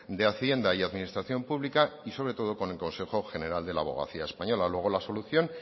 de hacienda y administración pública y sobre todo con el consejo general de la abogacía española luego la solución